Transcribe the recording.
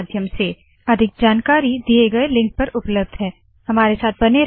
अधिक जानकारी दिए गए लिंक पर उपलब्ध है httpspoken tutorialorgNMEICT Intro इस ट्यूटोरियल में जुड़े रहने क लिए धन्यवाद नमस्कार